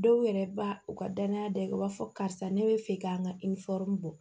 Dɔw yɛrɛ ba u ka danaya da u b'a fɔ karisa ne be fɛ k'an ka bɔ